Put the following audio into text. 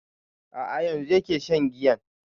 A'a yanzu yake shan giyan